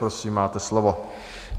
Prosím, máte slovo.